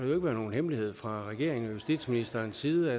været nogen hemmelighed fra regeringen og justitsministerens side at